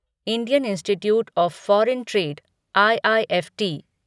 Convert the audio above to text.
Indian institute of foreign trade IIFT